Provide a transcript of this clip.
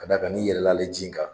Ka d'a kan n'i yɛlɛla ale ji in kan